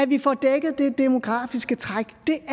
vi får dækket det demografiske træk det